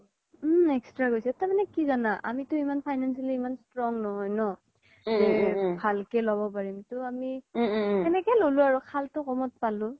উম extra গৈছে তাৰ মানে কি জানা আমিতো financially ইমান strong নহয় ন ভালকে ল্'ব পাৰিম ত আমি সেনেকে ল'লো আৰু খালতো ক'মত পালো